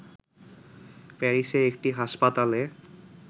প্যারিসের একটি হাসপাতালে